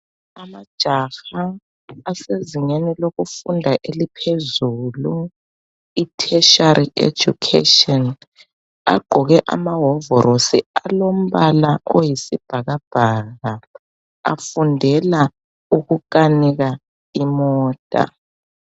Amajaha asezingeni lokufunda eliphezulu i tertiary education agqoke amahovorosi alombala oyisibhakabhaka afundela ukukanika imota.